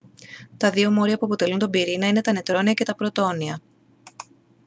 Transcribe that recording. τα δύο μόρια που αποτελούν τον πυρήνα είναι τα νετρόνια και τα πρωτόνια